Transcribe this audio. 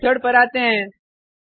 अब इस मेथड पर आते हैं